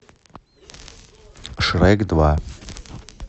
шрек два